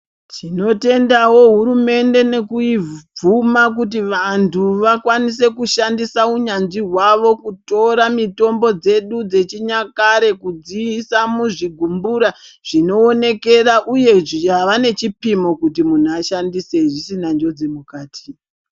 Tinotendawo hurumende nekubvuma kuti vantu vakwanise kushandisa unyanzvi hwavo kutora mitombo dzedu dzechinyakare kudziisa muzvigumbura zvinoonekera uye zvavanechipimo kuti munhu ashandise zvisina njodzi mukati.